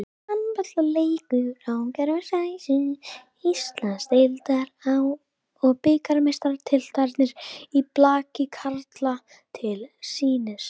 Handboltaleikur á gervigrasinu, Íslands- deildar og bikarmeistaratitlarnir í blaki karla til sýnis.